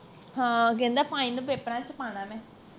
ਹਾਂ ਕਹਿੰਦਾ final ਪੇਪਰਾਂ ਚ ਪਾਣਾ ਮੈਂ